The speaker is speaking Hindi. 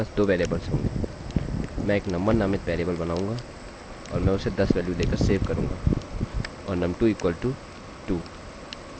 मैं एक num1 नामित वेरिएबल बनाऊँगा और मैं उसे 10 वेल्यू देकर सेव करूँगा और num2 इक्वल टू 2